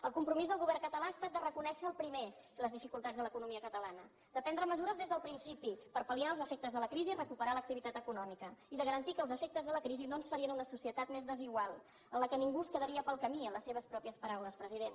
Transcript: el compromís del govern català ha estat de reconèixer el primer les dificultats de l’economia catalana de prendre mesures des del principi per pal·liar els efectes de la crisi i recuperar l’activitat econòmica i de garantir que els efectes de la crisi no ens farien una societat més desigual en la qual ningú es quedaria pel camí en les seves pròpies paraules president